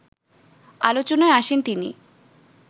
আলোচনায় আসেন তিনি